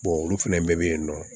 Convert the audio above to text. olu fɛnɛ bɛɛ be yen nɔ